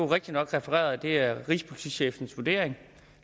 rigtigt nok refereret at det er rigspolitichefens vurdering